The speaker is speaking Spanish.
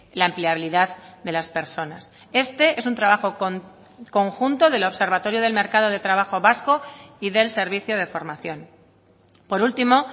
la empleabilidad de las personas este es un trabajo conjunto del observatorio del mercado de trabajo vasco y del servicio de formación por último